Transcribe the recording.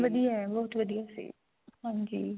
ਵਧੀਆ ਹੈ ਬਹੁਤ ਵਧੀਆ ਸੀ